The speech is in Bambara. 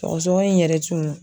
Sɔgɔsɔgɔ in yɛrɛ tun